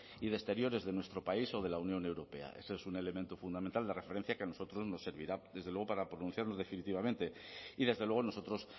y de exteriores de nuestro país o de la unión europea eso es un elemento fundamental de referencia que a nosotros nos servirá desde luego para pronunciarnos definitivamente y desde luego nosotros